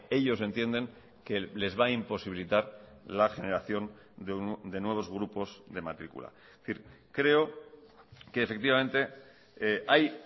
ellos entienden que les va a imposibilitar la generación de nuevos grupos de matrícula es decir creo que efectivamente hay